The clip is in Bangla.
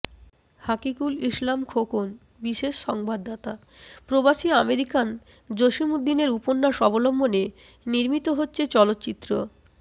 হাকিকুল ইসলাম খোকন বিশেষ সংবাদদাতাঃ প্রবাসী আমেরিকান জসীম উদ্দীনের উপন্যাস অবলম্বনে নির্মিত হচ্ছে চলচ্চিত